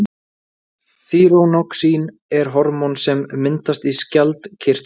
þýróxín er hormón sem myndast í skjaldkirtli